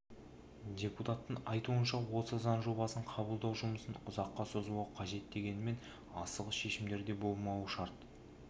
депутаттың айтуынша осы заң жобасын қабылдау жұмысын ұзаққа созбау қажет дегенмен асығыс шешімдер де болмауы шарт